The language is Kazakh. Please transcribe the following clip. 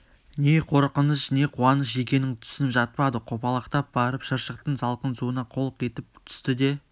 не қорқыныш не қуаныш екенін түсініп жатпады қопалақтап барып шыршықтың салқын суына қолқ етіп түсті де